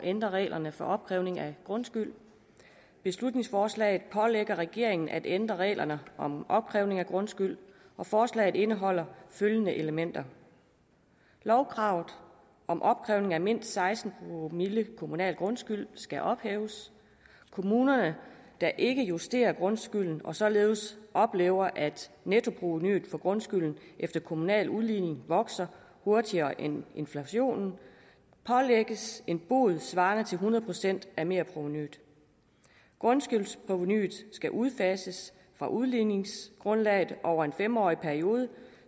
ændre reglerne for opkrævning af grundskyld beslutningsforslaget pålægger regeringen at ændre reglerne om opkrævning af grundskyld og forslaget indeholder følgende elementer lovkravet om opkrævning af mindst seksten promille kommunal grundskyld skal ophæves kommuner der ikke justerer grundskylden og således oplever at nettoprovenuet fra grundskylden efter kommunal udligning vokser hurtigere end inflationen pålægges en bod svarende til hundrede procent af merprovenuet grundskyldsprovenuet skal udfases fra udligningsgrundlaget over en fem årig periode